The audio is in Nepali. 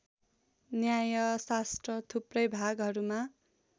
न्यायशास्त्र थुप्रै भागहरूमा